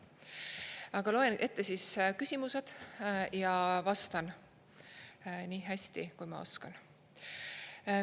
Aga loen ette küsimused ja vastan nii hästi, kui ma oskan.